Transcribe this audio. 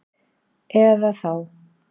Eða þá